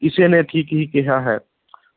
ਕਿਸੇ ਨੇ ਠੀਕ ਹੀ ਕਿਹਾ ਹੈ